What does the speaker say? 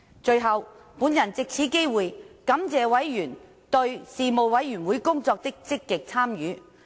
最後，我藉此機會感謝委員對事務委員會工作的積極參與。